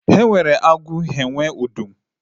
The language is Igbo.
E nwere agụ nwe ọdụm